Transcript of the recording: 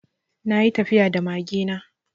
Na yi tafiya da mage na.